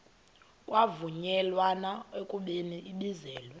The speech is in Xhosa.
kwavunyelwana ekubeni ibizelwe